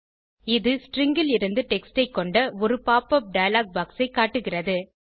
இது ஸ்ட்ரிங் லிருந்து டெக்ஸ்ட் ஐ கொண்ட ஒரு pop உப் டயலாக் பாக்ஸ் ஐ காட்டுகிறது